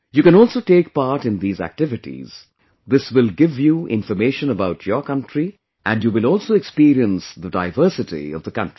You can also take part in these activities, this will give you information about your country, and you will also experience the diversity of the country